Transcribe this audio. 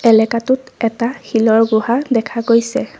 এলেকাটোত এটা শিলৰ গুহা দেখা গৈছে।